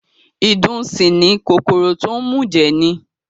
Ìdun sì ni, kòkòrò tó ń mùjẹ̀ ni